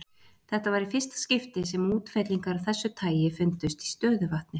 Þetta var í fyrsta skipti sem útfellingar af þessu tagi fundust í stöðuvatni.